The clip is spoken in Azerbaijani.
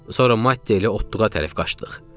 Sonra Matteyə doğru tərəf qaçdıq.